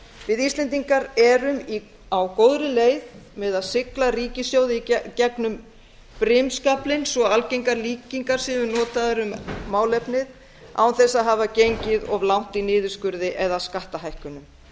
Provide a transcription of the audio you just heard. við íslendingar erum á góðri leið með að sigla ríkissjóði í gengum brimskaflinn svo algengar líkingar séu notaðar um málefnið án þess að hafa gengið of langt í niðurskurði eða skattahækkunum